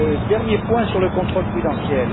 Dernier point sur le contrôle prudentiel.